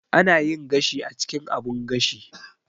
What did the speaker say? Ana yin gashi a cikin abun gashi.